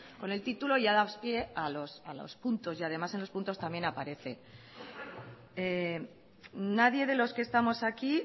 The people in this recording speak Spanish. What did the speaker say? con el título ya das pie a los puntos y además en los puntos también aparece nadie de los que estamos aquí